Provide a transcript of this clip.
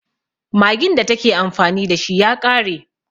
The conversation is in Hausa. Maggin da ta ke amfani da shi ya ƙare.